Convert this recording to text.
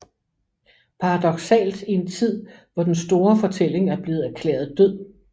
Paradoksalt i en tid hvor den store fortælling er blevet erklæret død